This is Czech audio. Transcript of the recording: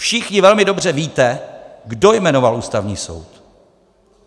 Všichni velmi dobře víte, kdo jmenoval Ústavní soud.